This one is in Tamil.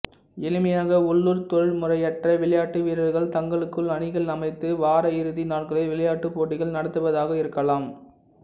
எளிமையாக உள்ளூர் தொழில்முறையற்ற விளையாட்டுவீரர்கள் தங்களுக்குள் அணிகள் அமைத்து வாரயிறுதி நாட்களில் விளையாட்டுப் போட்டிகள் நடத்துவதாக இருக்கலாம்